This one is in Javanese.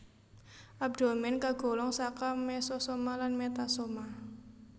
Abdomèn kagolong saka mesosoma lan metasoma